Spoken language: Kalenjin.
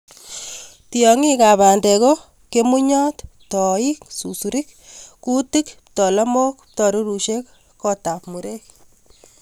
Tiongikab bandek ko kemunyot, toik, susurik, kutik, ptolomok, ptorurusiek, kotab murek.